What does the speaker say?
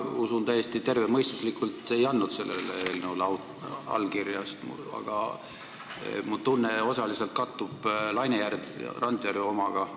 Mina ei andnud – täiesti tervemõistuslikult – sellele eelnõule allkirja, sest mu tunne kattub osaliselt Laine Randjärve omaga.